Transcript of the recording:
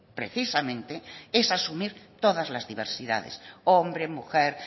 precisamente es asumir todas las diversidades hombre mujer